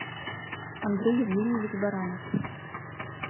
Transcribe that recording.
андрей евгеньевич баранов